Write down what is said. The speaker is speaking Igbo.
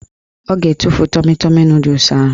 Ọ ga-etufu tọmi tọmi nọdụs ahụ